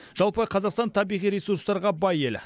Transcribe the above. жалпы қазақстан табиғи ресурстарға бай ел